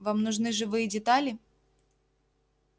вам нужны живые детали